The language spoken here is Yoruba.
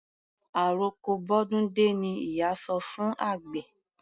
Àroko bọ́dún dé ni ìyá sọ fún àgbẹ̀.